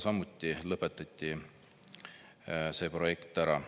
Samuti lõpetati see projekt ära.